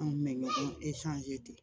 An kun bɛ ɲɔgɔn de